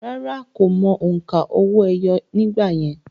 Rárá, kò mọ òǹkà owó-ẹyọ nígbà yẹn